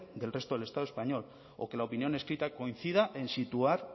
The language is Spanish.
del resto del estado español o que la opinión escrita coincida en situar